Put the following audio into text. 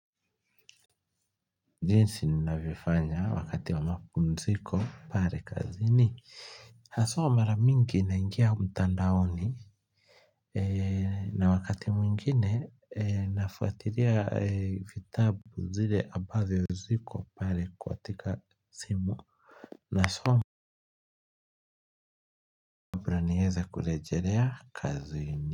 Jinsi ninavyofanya wakati wa mapumziko pale kazini haswa mara mingi naingia mtandaoni na wakati mwingine nafuatilia vitabu zile ambavyo ziko pale kwa tika simu nasoma kabla niweze kurejelea kazini.